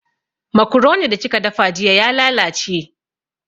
Makuroni da kika dafa jiya ya lalace